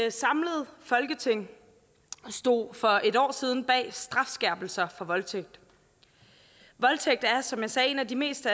et samlet folketing stod for et år siden bag strafskærpelser for voldtægt voldtægt er som jeg sagde en af de mest